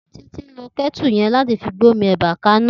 Titi n ló kètú yèn làtí fi gbómí èbá kàná